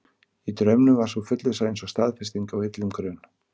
Í draumnum var sú fullvissa eins og staðfesting á illum grun.